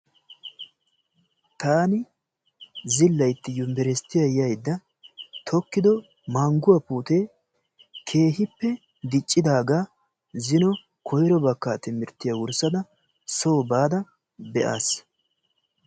taani zilaytta yunbberssitiya yaayyida tokkido mangguwa puutee keehipe diccidaaga zin koyro bakkaa timirttiyaa wurssada soo baada be'as.